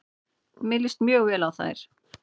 Mér líst mjög vel á þær.